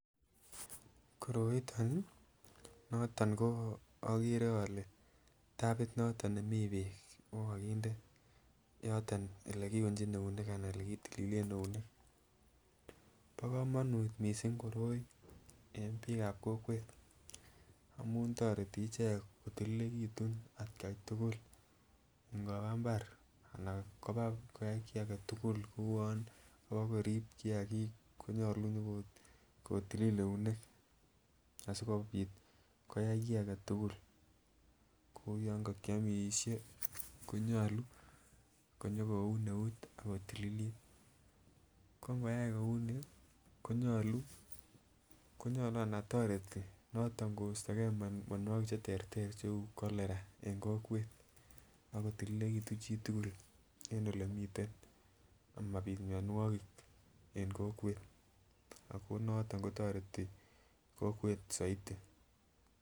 Koroiton nii noton ko okere ole tapit noton nemii beek okokinde yoton olekiuchi eunek anan ole kitililen eunek,. Bo komonut missing koroi en bik ab kokwet amun toreti icheket kotililekitun atgai tukul inkoba imbar anan koba koyai kii agetukul kouwon kobokorib kiyakik konyolu nyokotili eunek asikopit koyai kii agetukul kou yon kokiomishe konyolu konyokoun eut bokotililit ko inkoyai kouni konyolu anan toreti noton kosto gee mionwokik cheterter cheu Cholera en kokwet ak kotililekitun chitukul en olemiten amapit mionwokik en kokwet ako noton kotoreti kokwet soiti.